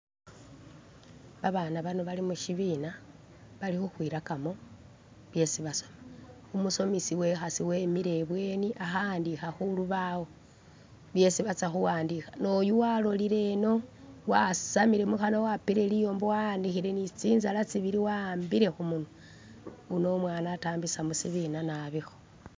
Abaana bano bali mushibina, bali khukhwilakamo byesi basoma, umusomesi wekhaasi wemile ibweni akha'andikha khulubawo byesi batsa khuwandikha, noyu walolile eno wasamile mukhanwa wapile liyombo wa'anikhile ni tsinzala tsibili wa'ambile khumunwa, uno umwana atambisa musibina nabikho